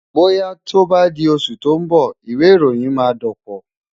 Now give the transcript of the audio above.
Bóyá tó bá di oṣù tó ń bọ̀, ìwẹ̀ ìròyìn máa dọ̀pọ̀.